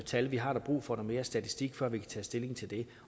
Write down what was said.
tal vi har brug for noget mere statistik før vi kan tage stilling til det